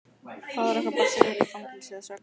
Faðir okkar bar sig vel í fangelsinu að sögn.